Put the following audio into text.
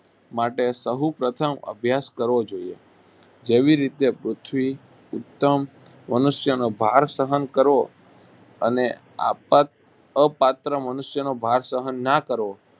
માટે સહુ પ્રથમ અભ્યાસ કરવો જોઈએ. જેવી રીતે પૃથ્વી ઉત્તમ મનુષ્યનો ભાર સહન કરવો અને આપત અપાત્ર મનુષ્યનો ભાર સહન ના કરવો